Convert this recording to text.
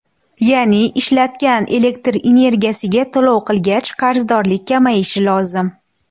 Ya’ni ishlatgan elektr energiyasiga to‘lov qilgach qarzdorlik kamayishi lozim.